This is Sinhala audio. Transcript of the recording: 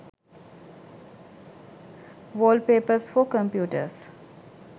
wallpapers for computers